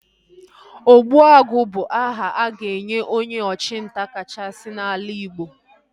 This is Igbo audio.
Ogbuagu bụ aha a ga-enye onye ọchụ nta kachasị n'ala Igbo